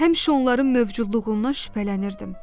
Həmişə onların mövcudluğundan şübhələnirdim.